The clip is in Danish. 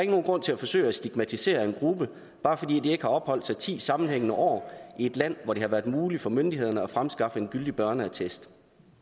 nogen grund til at forsøge at stigmatisere en gruppe bare fordi de ikke har opholdt sig ti sammenhængende år i et land hvor det har været muligt for myndighederne at fremskaffe en gyldig børneattest